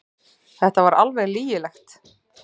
Þetta var alveg lygilegt.